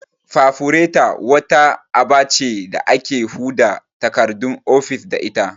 Fafureta' wata aba ce da ake huda takardun ofis da ita